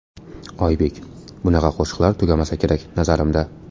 Oybek: Bunaqa qo‘shiqlar tugamasa kerak nazarimda.